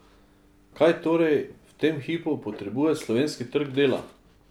Kaj torej v tem hipu potrebuje slovenski trg dela?